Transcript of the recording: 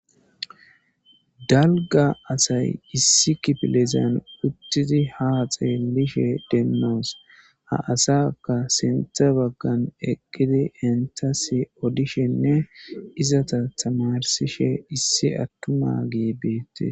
dalga asay issi kipilizan uttidi ha xeelishe de'osonnooa ha asaka sintha baggan eqqidi entas odishenne izata tamarsishe issi attuma geebeette